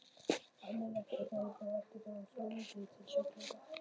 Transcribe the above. Almenn læknisþjónusta, vaktþjónusta og vitjanir til sjúklinga.